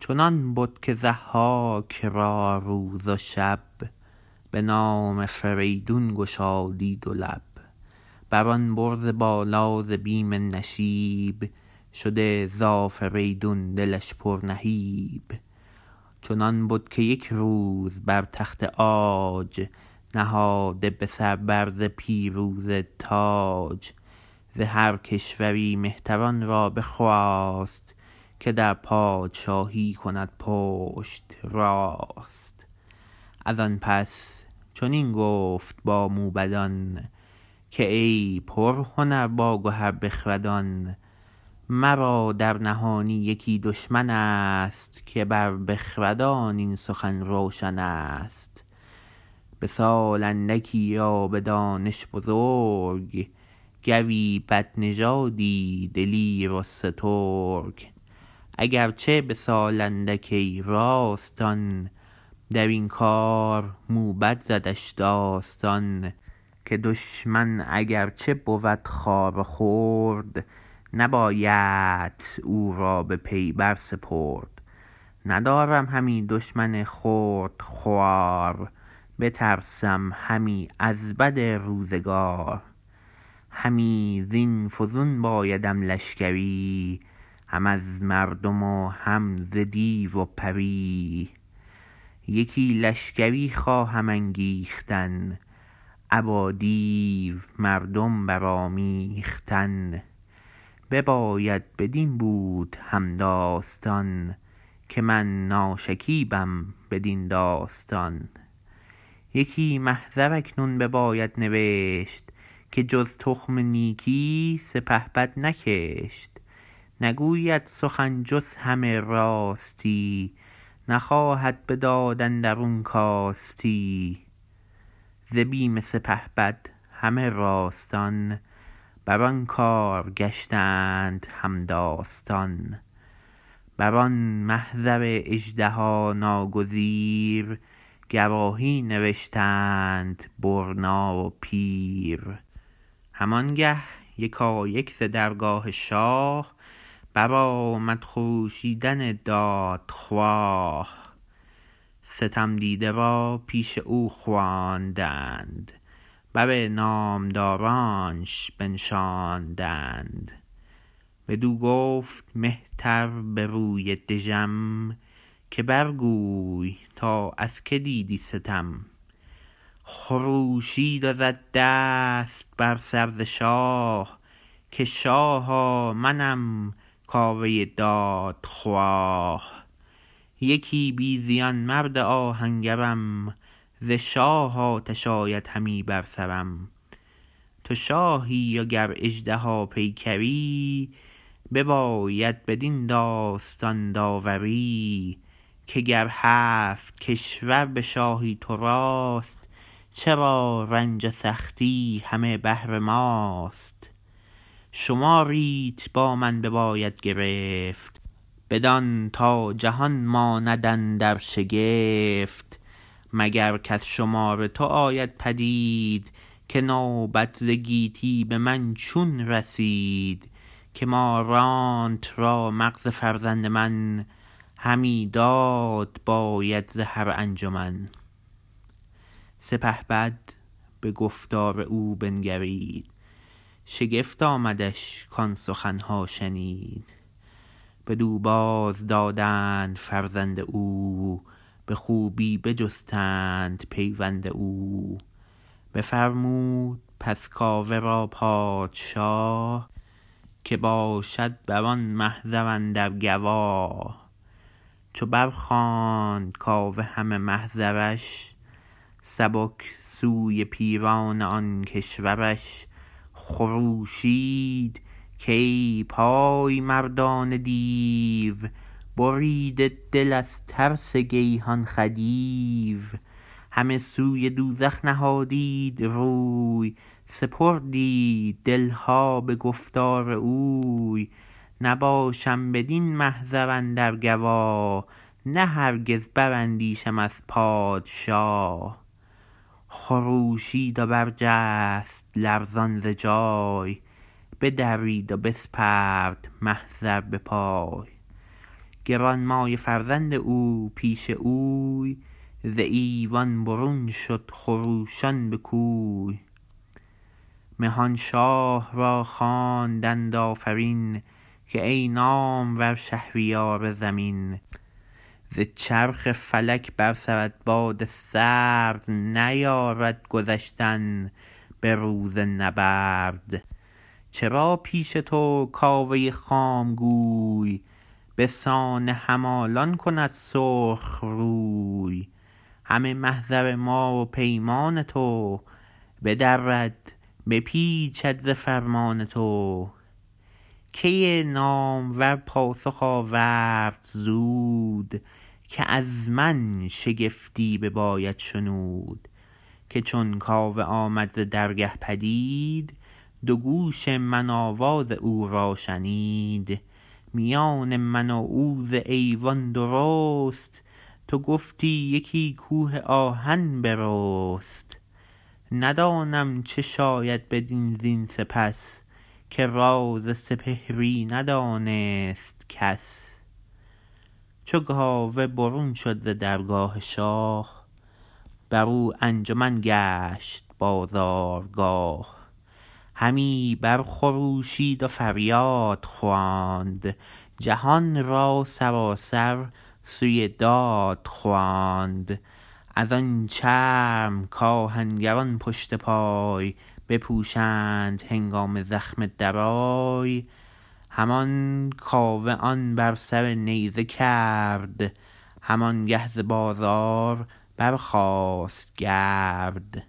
چنان بد که ضحاک را روز و شب به نام فریدون گشادی دو لب بر آن برز بالا ز بیم نشیب شده ز آفریدون دلش پر نهیب چنان بد که یک روز بر تخت عاج نهاده به سر بر ز پیروزه تاج ز هر کشوری مهتران را بخواست که در پادشاهی کند پشت راست از آن پس چنین گفت با موبدان که ای پرهنر باگهر بخردان مرا در نهانی یکی دشمن ست که بر بخردان این سخن روشن است به سال اندکی و به دانش بزرگ گوی بدنژادی دلیر و سترگ اگر چه به سال اندک ای راستان درین کار موبد زدش داستان که دشمن اگر چه بود خوار و خرد نبایدت او را به پی بر سپرد ندارم همی دشمن خرد خوار بترسم همی از بد روزگار همی زین فزون بایدم لشکری هم از مردم و هم ز دیو و پری یکی لشگری خواهم انگیختن ابا دیو مردم برآمیختن بباید بدین بود هم داستان که من ناشکیبم بدین داستان یکی محضر اکنون بباید نوشت که جز تخم نیکی سپهبد نکشت نگوید سخن جز همه راستی نخواهد به داد اندرون کاستی ز بیم سپهبد همه راستان بر آن کار گشتند هم داستان بر آن محضر اژدها ناگزیر گواهی نوشتند برنا و پیر هم آنگه یکایک ز درگاه شاه برآمد خروشیدن دادخواه ستم دیده را پیش او خواندند بر نامدارانش بنشاندند بدو گفت مهتر به روی دژم که بر گوی تا از که دیدی ستم خروشید و زد دست بر سر ز شاه که شاها منم کاوه دادخواه یکی بی زیان مرد آهنگرم ز شاه آتش آید همی بر سرم تو شاهی و گر اژدها پیکری بباید بدین داستان داوری که گر هفت کشور به شاهی تو راست چرا رنج و سختی همه بهر ماست شماریت با من بباید گرفت بدان تا جهان ماند اندر شگفت مگر کز شمار تو آید پدید که نوبت ز گیتی به من چون رسید که مارانت را مغز فرزند من همی داد باید ز هر انجمن سپهبد به گفتار او بنگرید شگفت آمدش کآن سخن ها شنید بدو باز دادند فرزند او به خوبی بجستند پیوند او بفرمود پس کاوه را پادشا که باشد بران محضر اندر گوا چو بر خواند کاوه همه محضرش سبک سوی پیران آن کشورش خروشید کای پای مردان دیو بریده دل از ترس گیهان خدیو همه سوی دوزخ نهادید روی سپردید دل ها به گفتار اوی نباشم بدین محضر اندر گوا نه هرگز براندیشم از پادشا خروشید و برجست لرزان ز جای بدرید و بسپرد محضر به پای گرانمایه فرزند او پیش اوی ز ایوان برون شد خروشان به کوی مهان شاه را خواندند آفرین که ای نامور شهریار زمین ز چرخ فلک بر سرت باد سرد نیارد گذشتن به روز نبرد چرا پیش تو کاوه خام گوی به سان همالان کند سرخ روی همه محضر ما و پیمان تو بدرد بپیچد ز فرمان تو کی نامور پاسخ آورد زود که از من شگفتی بباید شنود که چون کاوه آمد ز درگه پدید دو گوش من آواز او را شنید میان من و او ز ایوان درست تو گفتی یکی کوه آهن برست ندانم چه شاید بدن زین سپس که راز سپهری ندانست کس چو کاوه برون شد ز درگاه شاه برو انجمن گشت بازارگاه همی بر خروشید و فریاد خواند جهان را سراسر سوی داد خواند از آن چرم کآهنگران پشت پای بپوشند هنگام زخم درای همان کاوه آن بر سر نیزه کرد همان گه ز بازار برخاست گرد